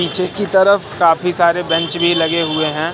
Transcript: पीछे की तरफ काफी सारे बेंच भी लगे हुए हैं।